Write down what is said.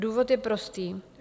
Důvod je prostý.